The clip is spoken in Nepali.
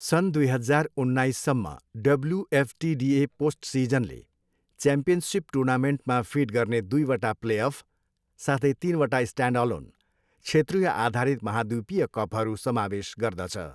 सन् दुई हजार उन्नाइससम्म डब्ल्युएफटिडिए पोस्टसिजनले च्याम्पियनसिप टुर्नामेन्टमा फिड गर्ने दुईवटा प्लेअफ, साथै तिनवटा स्ट्यान्डअलोन, क्षेत्रीयआधारित महाद्वीपीय कपहरू समावेश गर्दछ।